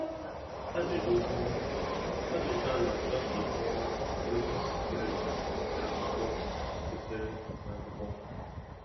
Ajụjụ Nkọwa: Ajụjụ n'achọ ka ịkọwa ozi sitere n’akwụkwọ. sitere n’akwụkwọ.